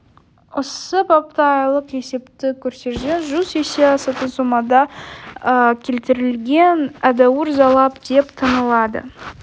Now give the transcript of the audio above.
осы бапта айлық есептік көрсеткіштен жүз есе асатын сомада келтірілген едәуір залал деп танылады